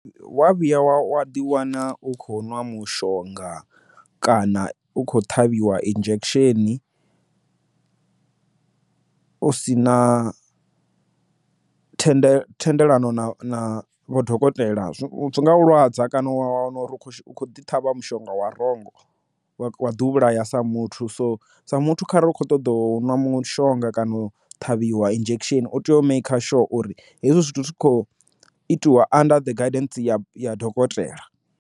Wa vhuya wa wa ḓi wana u khou nwa mushonga kana u kho ṱhavhiwa injection u si na thendelo thendelano na vho dokotela zwi nga lwadza kana wa wana uri u khou ḓi ṱhavha mushonga wa wrong wa ḓi u vhulaya sa muthu so sa muthu kharali u kho ṱoḓa u ṅwa mushonga kana o ṱhavhiwa dzi injection u tea u maker sure uri hezwi zwithu zwi kho itiwa under the guidance ya dokotela.